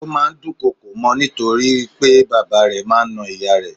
Ó máa ń dùn kọkò mọ́ ni nítorí pé bàbá rẹ̀ máa ń na ìyá rẹ̀.